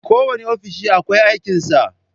Kowanne ofishi akwai aikin sa